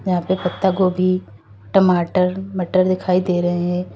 यहाँ पे पत्ता गोभी टमाटर मटर दिखाई दे रहे हैं।